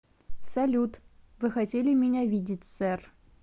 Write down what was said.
салют вы хотели меня видеть сэр